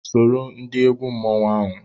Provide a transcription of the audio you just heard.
Soro ndị egwu mmanwụ ahụ!